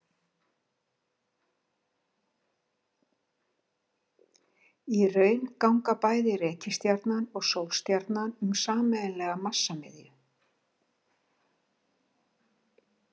Í raun ganga bæði reikistjarnan og sólstjarnan um sameiginlega massamiðju.